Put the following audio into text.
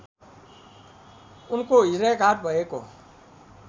उनको हृदयाघात भएको